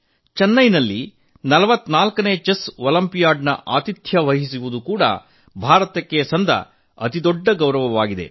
ಚೆನ್ನೈನಲ್ಲಿ 44 ನೇ chess olympiad ನ ಆತಿಥ್ಯ ವಹಿಸುವುದು ಕೂಡಾ ಭಾರತಕ್ಕೆ ದೊರೆತ ಅತಿದೊಡ್ಡ ಗೌರವವಾಗಿದೆ